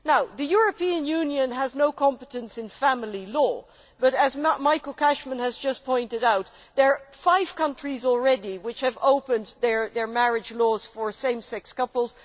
The European Union has no competence in family law, but as Michael Cashman has just pointed out, there are five countries already which have opened their marriage laws to same sex couples.